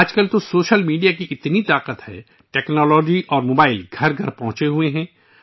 آج کل social media کی قوت بہت وسیع ہے ، ٹیکنالوجی اور موبائل ہر گھر تک پہنچ چکے ہیں